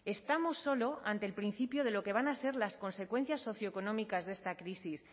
estamos solo ante el principio de lo que van a ser las consecuencias socioeconómicas de esta crisis